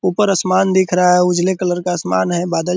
ऊपर आसमान दिख रहा है उजले कलर का आसमान है बादल --